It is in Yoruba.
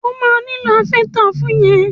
O máa nílò háfẹ́stà fún yẹn.